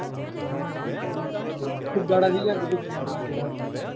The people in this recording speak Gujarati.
ખુબ દહાડા થઇ ગયા પ્રેમાંથી વાત કરે